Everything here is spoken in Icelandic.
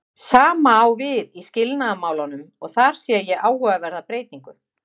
Sama á við í skilnaðarmálunum og þar sé ég áhugaverða breytingu.